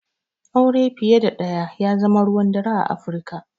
Aure fiye da ɗaya ya zama ruwan dare a Afirika.